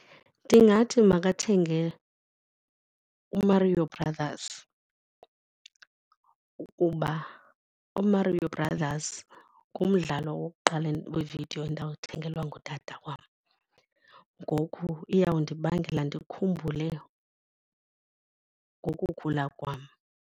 Ndingathi makathenge u-Mario Brothers ukuba uMario Brothers ngumdlalo wokuqala wevidiyo endawuthengelwa ngutata wam, ngoku iyawundibangela ndikhumbule ngokukhula kwam.